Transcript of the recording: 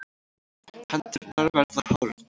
Hendurnar verða horn.